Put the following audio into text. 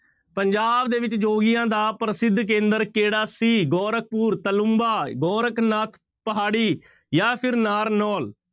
ਪੰਜਾਬ ਦੇ ਵਿੱਚ ਜੋਗੀਆਂ ਦਾ ਪ੍ਰਸਿੱਧ ਕੇਂਦਰ ਕਿਹੜਾ ਸੀ? ਗੋਰਖਪੁਰ, ਤਲੂੰਬਾ, ਗੋਰਖਨਾਥ ਪਹਾੜੀ ਜਾਂ ਫਿਰ ਨਾਰਨੋਲ।